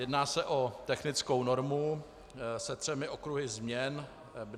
Jedná se o technickou normu se třemi okruhy změn.